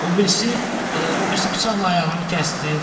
O birisi o birisi bıçaqla ayağımı kəsdi.